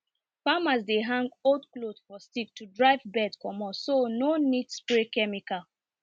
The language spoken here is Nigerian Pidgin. farmers dey hang old cloth for stick to drive bird comot so no need spray chemical